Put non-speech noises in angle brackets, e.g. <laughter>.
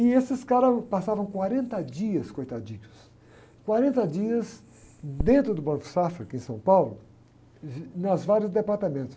E esses caras passavam quarenta dias, coitadinhos, quarenta dias dentro do Banco Safra, aqui em São Paulo, <unintelligible> nas várias departamentos.